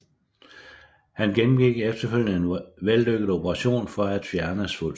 Han gennemgik efterfølgende en vellykket operation for at fjerne svulsten